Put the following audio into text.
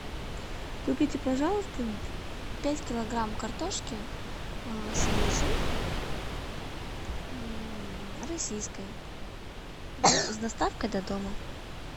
купите пожалуйста пять килограмм картошки свежей российской с доставкой до дома